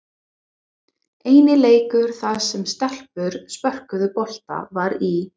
Eini leikur þar sem stelpur spörkuðu bolta var í